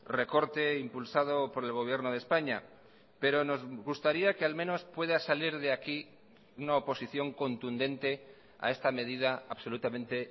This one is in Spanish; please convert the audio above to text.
recorte impulsado por el gobierno de españa pero nos gustaría que al menos pueda salir de aquí una oposición contundente a esta medida absolutamente